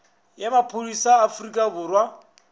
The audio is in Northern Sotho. ya maphodisa a afrika borwa